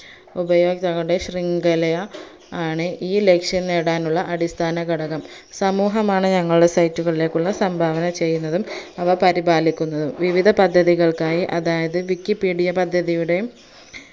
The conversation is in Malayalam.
ഉപയോക്താക്കളുടെ ശ്രിങ്കല ആണ് ഈ ലക്ഷ്യം നേടാനുള്ള അടിസ്ഥാനഘടകം സമൂഹമാണ് ഞങ്ങളുടെ site കളിലേക്കുള്ള സംഭാവന ചെയ്യുന്നതും അവ പരിപാലിക്കുന്നതും വിവിധ പദ്ധതികൾക്കായി അതായത് wikipedia പദ്ധതിയുടെ